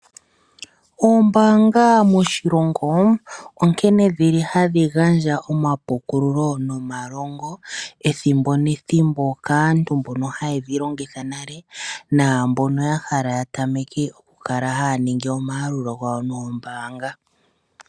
Oombaanga moshilongo, onkene dhili hadhi gandja omapukululo, nomalongo ethimbo nethimbo, kaantu mbono haye dhi longitha nale, naambono ya hala ya tameke okukala haya ningi omayalulo gawo noombaanga.